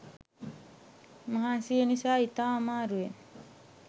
මහන්සිය නිසා ඉතා අමාරුවෙන්